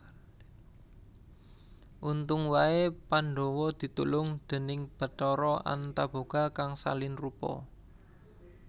Untung wae Pandhawa ditulung déning Bathara Antaboga kang salin rupa